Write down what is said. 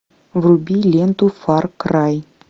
вруби ленту фар край